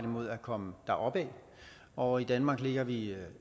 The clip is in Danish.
imod at komme deropad og i danmark ligger vi